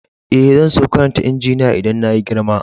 Eh, zan so karanta injiniya idan na yi girma.